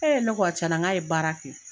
ne ko cɛn na n k'a ye baara kɛ.